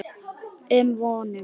um vonum.